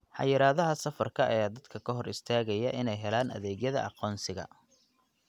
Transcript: Xayiraadaha safarka ayaa dadka ka hor istaagaya inay helaan adeegyada aqoonsiga.